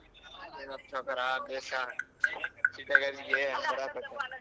ಏನಪ್ಪಾ ಸವ್ಕಾರ ಭೇಷಾ city ಅಲ್ಲಿ .